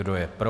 Kdo je pro?